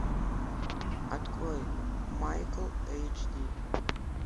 открой майкл эйч ди